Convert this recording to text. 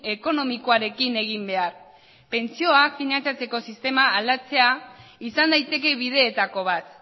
ekonomikoarekin egin behar pentsioak finantzatzeko sistema aldatzea izan daiteke bideetako bat